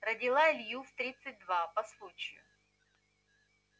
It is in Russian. родила илью в тридцать два по случаю